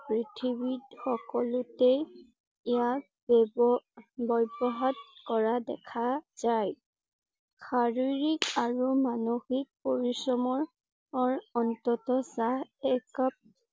পৃথিৱীত সকলোতেই ইয়াক ব্যবব্যৱহাৰ কৰা দেখা যায়। শাৰীৰিক আৰু মনসিক পৰিশ্ৰমঅৰ অন্তত চাহ এক কাপ